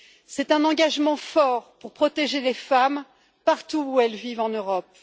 C'est un engagement fort pour protéger les femmes partout où elles vivent en Europe.